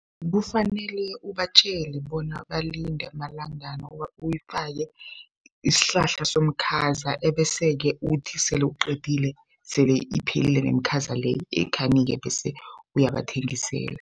Kufanele ubatjele bona balinde amalangana, uyifake isihlahla somkhaza ebeseke uthi sele uqedile sele iphelile nemikhaza le ikhanike bese uyabathengisela.